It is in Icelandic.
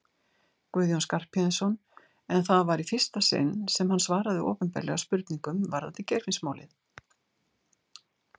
Guðjón Skarphéðinsson en það var í fyrsta sinn sem hann svaraði opinberlega spurningum varðandi Geirfinnsmálið.